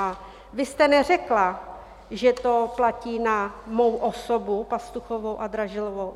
A vy jste neřekla, že to platí na mou osobu, Pastuchovou a Dražilovou.